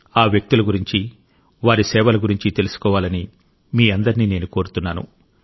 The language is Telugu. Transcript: ఈ వ్యక్తుల గురించి వారి సేవల గురించి తెలుసుకోవాలని మీ అందరిని నేను కోరుతున్నాను